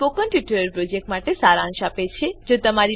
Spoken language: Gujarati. તે સ્પોકન ટ્યુટોરીયલ પ્રોજેક્ટનો સારાંશ આપે છે